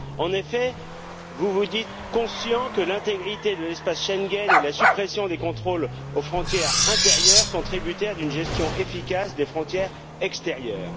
En effet, vous vous dites conscient du fait que l'intégrité de l'espace Schengen et la suppression des contrôles aux frontières intérieures sont tributaires d'une gestion efficace des frontières extérieures.